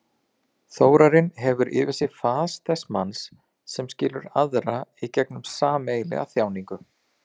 Þórarinn hefur yfir sér fas þess manns sem skilur aðra í gegnum sameiginlega þjáningu.